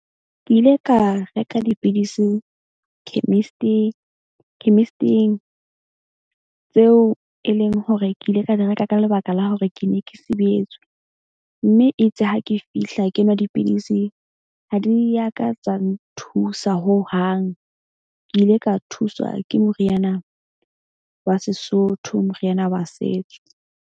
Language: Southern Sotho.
Ke ile ka reka dipidisi chemist-ing. Chemist-ing tseo e leng hore ke ile ka di reka ka lebaka la hore ke ne ke sibetswe. Mme itse ha ke fihla ke nwa dipidisi. Ha di ya ka tsa nthusa ho hang. Ke ile ka thuswa ke moriana wa Sesotho, moriana wa setso.